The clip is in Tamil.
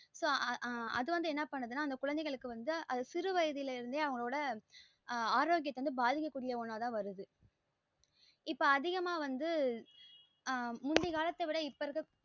so அது வந்து என்ன பண்ணுதுன்னா அந்த குழந்தைகளுக்கு வந்து சிறு வயதிலே இருந்து அவங்கலோடா அஹ் ஆரோக்கியத்த பாதிக்க கூடிய ஒண்ணா தா வருது இப்ப அதிகமா வந்து ஆஹ் முந்தி காலத்த விட இப்ப இருக்க